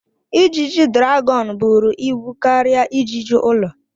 Ijiji dragọn buru ibu karịa ijiji ụlọ.